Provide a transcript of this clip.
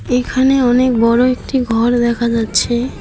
এইখানে অনেক বড় একটি ঘর দেখা যাচ্ছে।